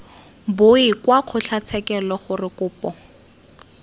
boe kwa kgotlatshekelo gore kopo